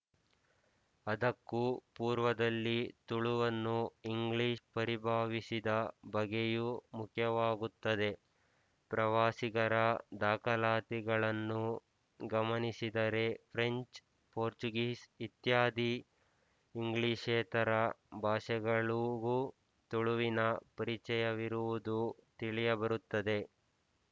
ಅದಕ್ಕೂ ಪೂರ್ವದಲ್ಲಿ ತುಳುವನ್ನು ಇಂಗ್ಲಿಶ್ ಪರಿಭಾವಿಸಿದ ಬಗೆಯೂ ಮುಖ್ಯವಾಗುತ್ತದೆ ಪ್ರವಾಸಿಗರ ದಾಖಲಾತಿಗಳನ್ನು ಗಮನಿಸಿದರೆ ಫ್ರೆಂಚ್ ಪೋರ್ಚುಗೀಸ್ ಇತ್ಯಾದಿ ಇಂಗ್ಲಿಶೇತರ ಭಾಷೆಗಳೂಗೂ ತುಳುವಿನ ಪರಿಚಯವಿರುವುದು ತಿಳಿದುಬರುತ್ತದೆ